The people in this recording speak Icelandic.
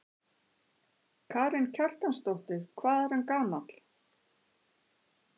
Karen Kjartansdóttir: Hvað er hann gamall?